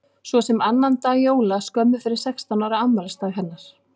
Svo sem annan dag jóla skömmu fyrir sextán ára afmælisdag hennar.